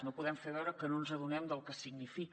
no podem fer veure que no ens adonem del que significa